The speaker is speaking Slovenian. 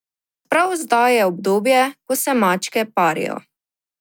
Prav zdaj je obdobje, ko se mačke parijo.